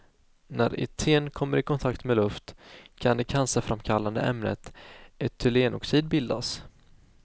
När eten kommer i kontakt med luft kan det cancerframkallande ämnet etylenoxid bildas.